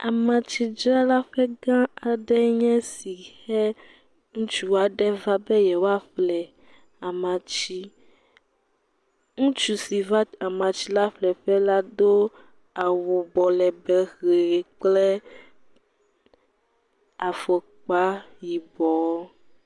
Amatsidzralaƒe gã aɖe nye esi he ŋutsu aɖe va be yewoaƒle amatsi. Ŋutsu si va amatsi la ƒleƒe la do awu abɔ legbẽ ʋi kple afɔkpa yibɔ.